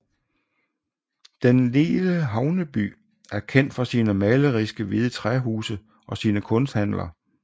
Den lille havneby er kendt for sine maleriske hvide træhuse og sine kunsthandler